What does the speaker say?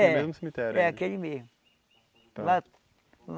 É, no mesmo cemitério, é aquele mesmo. Lá